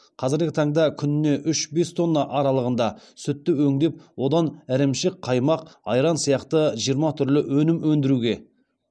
қазіргі таңда күніне үш бес тонна аралығында сүтті өңдеп одан ірімшік қаймақ айран сияқты жиырма түрлі өнім өндіруге